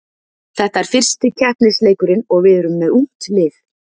Þetta er fyrsti keppnisleikurinn og við erum með ungt lið.